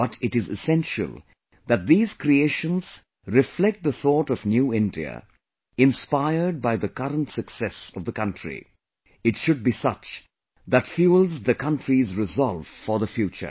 But it is essential that these creations reflect the thought of new India; inspired by the current success of the country, it should be such that fuels the country's resolve for the future